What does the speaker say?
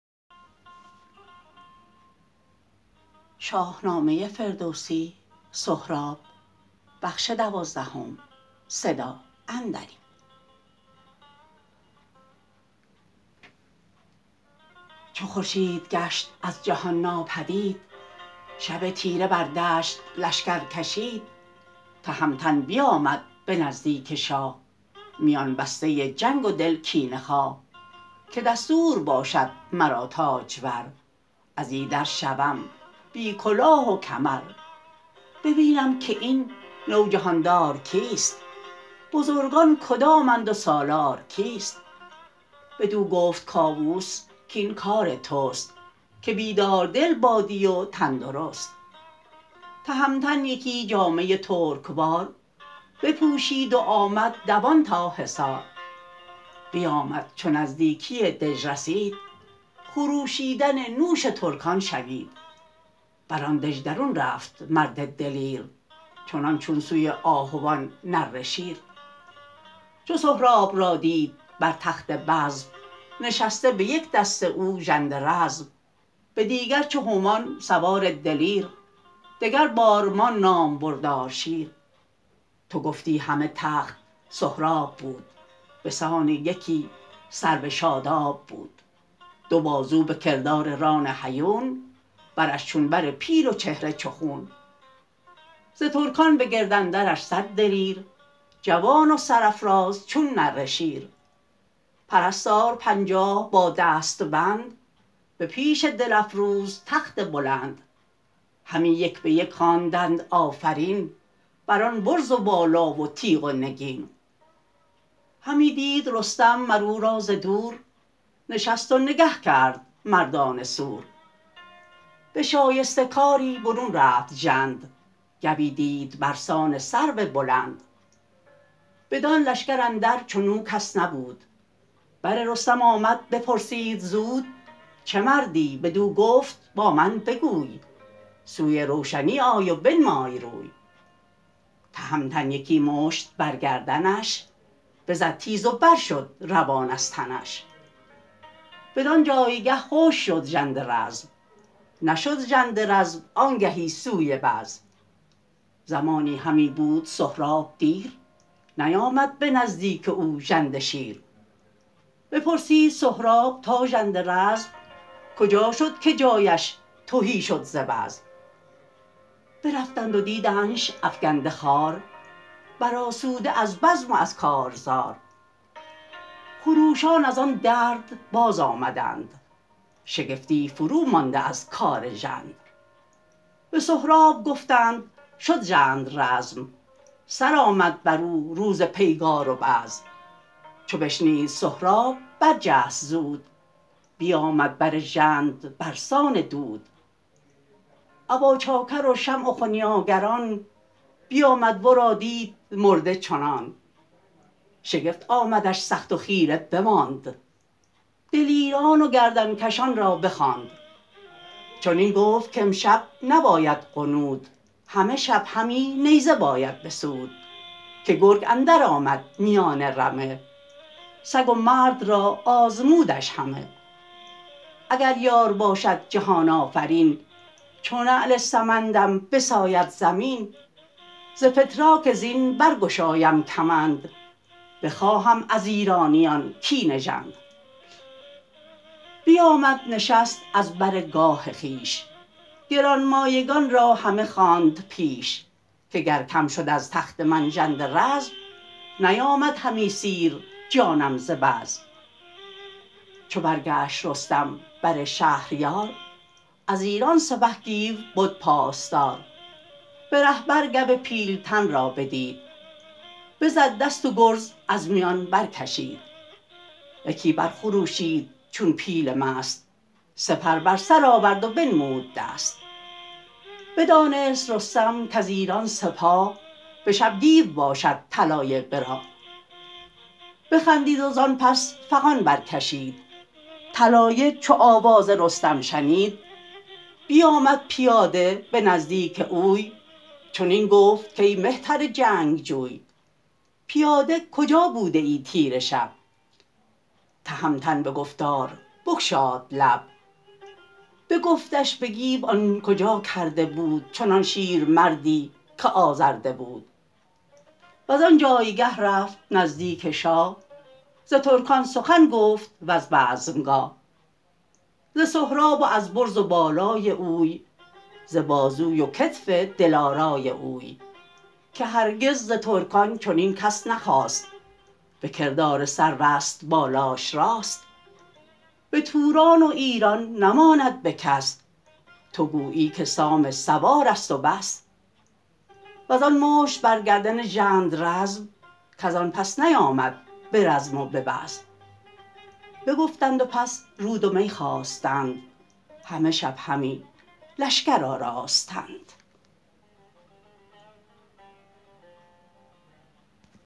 چو خورشید گشت از جهان ناپدید شب تیره بر دشت لشکر کشید تهمتن بیامد به نزدیک شاه میان بسته جنگ و دل کینه خواه که دستور باشد مرا تاجور از ایدر شوم بی کلاه و کمر ببینم که این نوجهاندار کیست بزرگان کدامند و سالار کیست بدو گفت کاووس کین کار تست که بیداردل بادی و تن درست تهمتن یکی جامه ترکوار بپوشید و آمد دوان تا حصار بیامد چو نزدیکی دژ رسید خروشیدن نوش ترکان شنید بران دژ درون رفت مرد دلیر چنان چون سوی آهوان نره شیر چو سهراب را دید بر تخت بزم نشسته به یک دست او ژنده رزم به دیگر چو هومان سوار دلیر دگر بارمان نام بردار شیر تو گفتی همه تخت سهراب بود بسان یکی سرو شاداب بود دو بازو به کردار ران هیون برش چون بر پیل و چهره چو خون ز ترکان بگرد اندرش صد دلیر جوان و سرافراز چون نره شیر پرستار پنجاه با دست بند به پیش دل افروز تخت بلند همی یک به یک خواندند آفرین بران برز و بالا و تیغ و نگین همی دید رستم مر او را ز دور نشست و نگه کرد مردان سور به شایسته کاری برون رفت ژند گوی دید برسان سرو بلند بدان لشکر اندر چنو کس نبود بر رستم آمد بپرسید زود چه مردی بدو گفت با من بگوی سوی روشنی آی و بنمای روی تهمتن یکی مشت بر گردنش بزد تیز و برشد روان از تنش بدان جایگه خشک شد ژنده رزم نشد ژنده رزم آنگهی سوی بزم زمانی همی بود سهراب دیر نیامد به نزدیک او ژند شیر بپرسید سهراب تا ژنده رزم کجا شد که جایش تهی شد ز بزم برفتند و دیدنش افگنده خوار برآسوده از بزم و از کارزار خروشان ازان درد بازآمدند شگفتی فرو مانده از کار ژند به سهراب گفتند شد ژنده رزم سرآمد برو روز پیگار و بزم چو بشنید سهراب برجست زود بیامد بر ژنده برسان دود اباچاکر و شمع و خنیاگران بیامد ورا دید مرده چنان شگفت آمدش سخت و خیره بماند دلیران و گردن کشان را بخواند چنین گفت کامشب نباید غنود همه شب همی نیزه باید بسود که گرگ اندر آمد میان رمه سگ و مرد را آزمودش همه اگر یار باشد جهان آفرین چو نعل سمندم بساید زمین ز فتراک زین برگشایم کمند بخواهم از ایرانیان کین ژند بیامد نشست از بر گاه خویش گرانمایگان را همه خواند پیش که گر کم شد از تخت من ژنده رزم نیامد همی سیر جانم ز بزم چو برگشت رستم بر شهریار از ایران سپه گیو بد پاسدار به ره بر گو پیلتن را بدید بزد دست و گرز از میان برکشید یکی بر خروشید چون پیل مست سپر بر سر آورد و بنمود دست بدانست رستم کز ایران سپاه به شب گیو باشد طلایه به راه بخندید و زان پس فغان برکشید طلایه چو آواز رستم شنید بیامد پیاده به نزدیک اوی چنین گفت کای مهتر جنگجوی پیاده کجا بوده ای تیره شب تهمتن به گفتار بگشاد لب بگفتش به گیو آن کجا کرده بود چنان شیرمردی که آزرده بود وزان جایگه رفت نزدیک شاه ز ترکان سخن گفت وز بزم گاه ز سهراب و از برز و بالای اوی ز بازوی و کتف دلارای اوی که هرگز ز ترکان چنین کس نخاست بکردار سروست بالاش راست به توران و ایران نماند به کس تو گویی که سام سوارست و بس وزان مشت بر گردن ژنده رزم کزان پس نیامد به رزم و به بزم بگفتند و پس رود و می خواستند همه شب همی لشکر آراستند